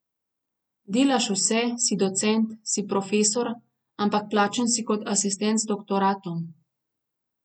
Delaš vse, si docent, si profesor, ampak plačan si kot asistent z doktoratom.